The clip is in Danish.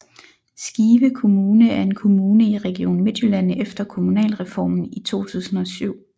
Skive Kommune er en kommune i Region Midtjylland efter Kommunalreformen i 2007